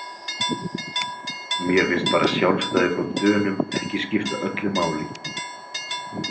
Mér finnst bara sjálfstæði frá Dönum ekki skipta öllu máli